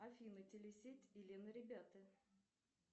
афина телесеть элен и ребята